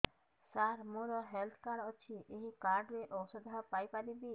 ସାର ମୋର health card ଅଛି ଏହି କାର୍ଡ ରେ ଔଷଧ ପାଇପାରିବି